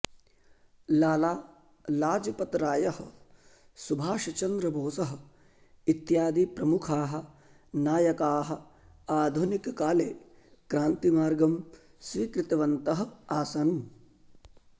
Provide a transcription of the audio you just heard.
लाला लजपतरायः सुभाषचन्द्रबोसः इत्यादिप्रमुखाः नायकाः आधुनिककाले क्रान्तिमार्गं स्वीकृतवन्तः आसन्